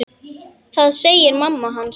Það segir mamma hans.